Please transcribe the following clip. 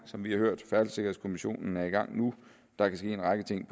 som vi har hørt færdselssikkerhedskommissionen er nu i gang og der kan ske en række ting